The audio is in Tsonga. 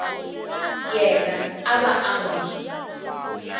yena a va n wi